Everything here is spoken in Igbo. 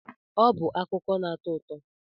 Ọ bụ akụkọ na-atọ ụtọ.